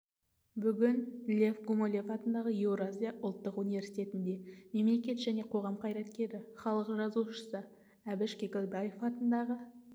бүгін лев гумилев атындағы еуразия ұлттық университетінде мемлекет және қоғам қайраткері іалық жазушысы әбіш кекілбаев атындағы